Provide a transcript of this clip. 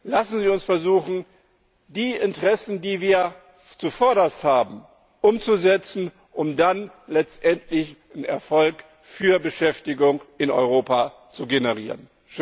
Lassen Sie uns versuchen, die Interessen, die wir zuvorderst haben, umzusetzen, um dann letztendlich einen Erfolg für Beschäftigung in Europa zu generieren.